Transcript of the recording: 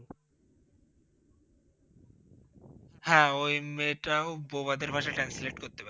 হ্যাঁ! ওই মেয়েটাও বোবাদের ভাষা Translate করতে পারে।